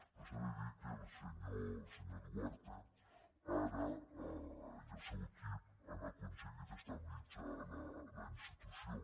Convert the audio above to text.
però s’ha de dir que el senyor duarte ara i el seu equip han aconseguit estabilitzar la institució